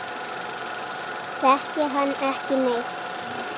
Þekki hann ekki neitt.